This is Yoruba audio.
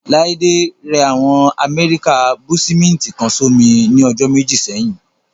Láídé rẹ àwọn amẹ́ríkà búúṣímíntì kan sómi ní ọjọ́ méjì sẹ́yìn